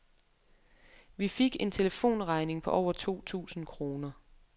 Vi fik en telefonregning på over to tusind kroner.